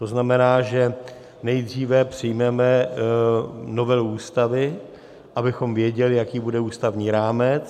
To znamená, že nejdříve přijmeme novelu Ústavy, abychom věděli, jaký bude ústavní rámec.